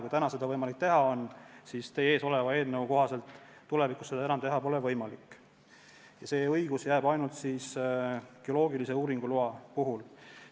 Kui täna on seda võimalik teha, siis teie ees oleva eelnõu kohaselt pole tulevikus seda teha enam võimalik ja see õigus jääb ainult geoloogilise uuringu loa puhul.